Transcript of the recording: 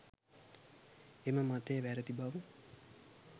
එම මතය වැරැදි බව